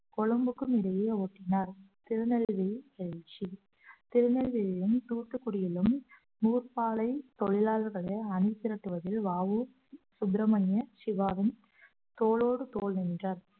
கொழும்புக்கும் இடையே ஓட்டினார் திருநெல்வேலி பயிற்சி திருநெல்வேலியிலும் தூத்துக்குடியிலும் நூற்பாலை தொழிலாளர்களை அணிதிரட்டுவதில் வ உ சுப்ரமணிய சிவாவும் தோளோடு தோள் நின்றார்